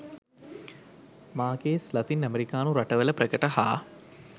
Márquez Latin ඇමෙරිකානු රටවල ප්‍රකට හා